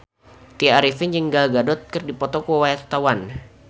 Tya Arifin jeung Gal Gadot keur dipoto ku wartawan